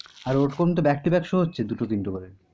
আর ও রকম তো back to back show হচ্ছে দুটো তিনটি করে।